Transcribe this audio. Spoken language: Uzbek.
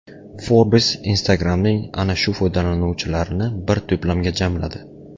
Forbes Instagram’ning ana shu foydalanuvchilarini bir to‘plamga jamladi .